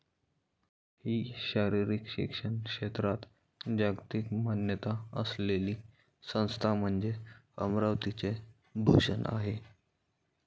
हि शारीरिक शिक्षण क्षेत्रात जागतिक मान्यता असलेली संस्था म्हणजे अमरावतीचे भूषण आहे.